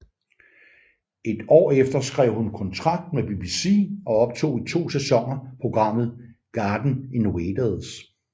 Et år efter skrev hun kontrakt med BBC og optog i to sæsoner programmet Garden Invaders